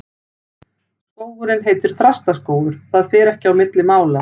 Skógurinn heitir Þrastaskógur, það fer ekki á milli mála.